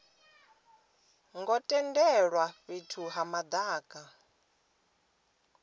ngo tendelwa fhethu ha madaka